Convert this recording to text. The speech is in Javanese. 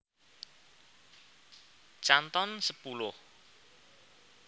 Canton sepuluh